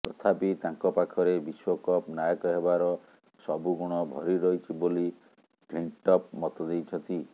ତଥାପି ତାଙ୍କ ପାଖରେ ବିଶ୍ବକପ୍ ନାୟକ ହେବାର ସବୁଗୁଣ ଭରି ରହିଛି ବୋଲି ଫ୍ଲିଣ୍ଟଫ ମତ ଦେଇଛନ୍ତି